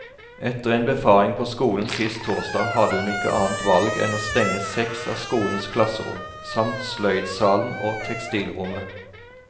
Etter en befaring på skolen sist torsdag hadde hun ikke annet valg enn å stenge seks av skolens klasserom, samt sløydsalen og tekstilrommet.